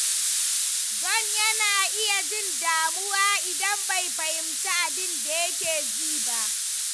John yana iya jin damuwa idan bai fahimci abin da yake ji ba.